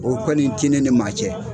O kɔni te ne ni maa cɛ.